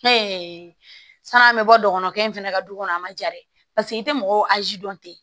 san'an bɛ bɔ dɔgɔnukɛ in fana ka du kɔnɔ a man ja dɛ paseke i tɛ mɔgɔw dɔn ten